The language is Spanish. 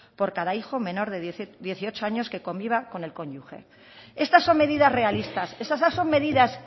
por cada hijo menor de dieciocho años que conviva con el contribuyente estas son medidas realistas estas son medidas